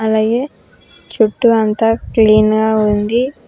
అలాగే చుట్టు అంతా క్లీన్ గా ఉంది.